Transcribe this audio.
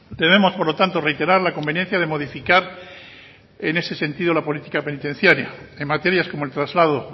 debemos por lo tanto reiterar la conveniencia de modificar en ese sentido la política penitenciaria en materias como el traslado